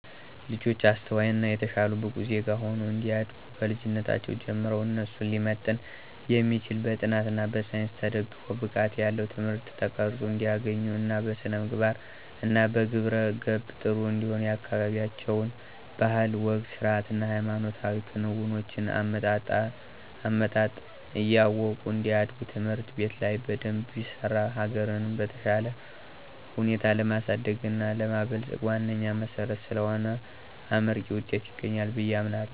ልጆች አስተዋይ እና የተሻሉ ብቁ ዜጋ ሁነው እንዲያድጉ ከልጅነታቸው ጀምረው እነሱን ሊመጥን የሚችል በጥናት እና በሳይንስ ተደግፎ ብቃት ያለው ትምህርት ተቀረፆ እንዲያገኙ እና በስነምግባር እና በግብረ ገብ ጥሩ እንዲሆኑ የአካበቢያቸውን ባህል፣ ወግ፣ ስርአት እና ሃይማኖታዊ ክንውኖችን(አመጣጥ) እያወቁ እንዲያድጉ ትምህርት ቤት ላይ በደንብ ቢሰራ ሀገርንም በተሻለ ሁኔታ ለማሳደግ እና ለማበልፀግ ዋነኛ መሰረት ስለሆነ አመርቂ ዉጤት ይገኛል ብየ አምናለሁ።